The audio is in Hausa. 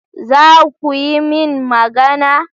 Za ku yi min magana?